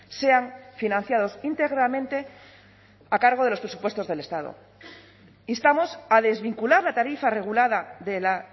sean financiados íntegramente a cargo de los presupuestos del estado instamos a desvincular la tarifa regulada de la